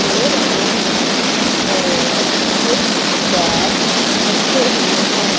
दे रहे हैं और कुछ बैग रखे हुए हैं।